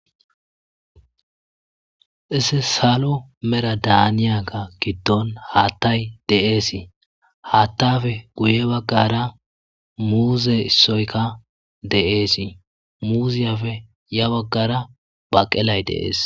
Issi salo mera daaniyaga giddon haattay deeesii haattafe guye baggara muuze issoykka de's muuziyapfe ya baggara baqelay dees.